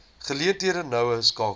geleenthede noue skakeling